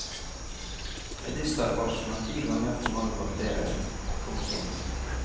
Medisterfarsen har ti ganger for mange bakterier. punktum